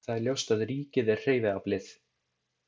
Það er ljóst að ríkið er hreyfiaflið.